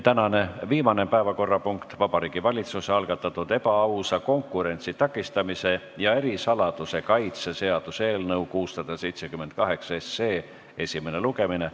Tänane viimane päevakorrapunkt on Vabariigi Valitsuse algatatud ebaausa konkurentsi takistamise ja ärisaladuse kaitse seaduse eelnõu 678 esimene lugemine.